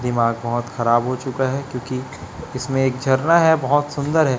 दिमाग बहोत खराब हो चुका हैं क्योंकि इसमें एक झरना हैं बहोत सुंदर हैं।